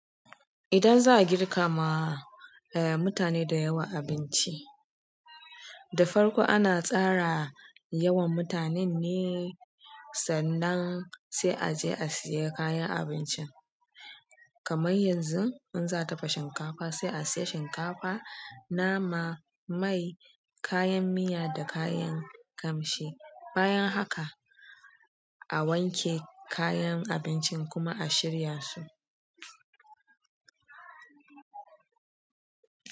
Idan za'a girka ma mutane da yawa abinci, da farko ana tsara yawan mutanen ne sannan sai aje a siya kayan abincin. Kamar yanzu in za a dafa shinkafa, sai a siya shinkafa, nama, mai, kayan miya da kayan ƙamshi. Bayan haka, a wanke kayan abincin kuma a shirya su.